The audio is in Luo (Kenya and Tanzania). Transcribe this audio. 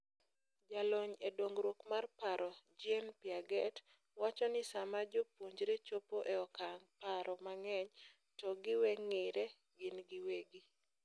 Jalony e dongruok mar paro Jean Piaget wacho ni sama jopuonjre chopo e okang' paro mang'eny to giweng'ire gin giwegi.